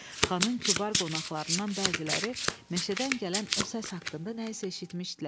Xanın kübar qonaqlarından bəziləri meşədən gələn o səs haqqında nə isə eşitmişdilər.